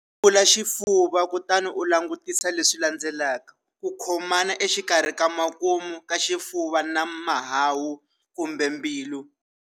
Yevula xifuva kutani u langutisa leswi landzelaka-Ku khomana exikarhi ka makumu ka xifuva na mahahu kumbe mbilu.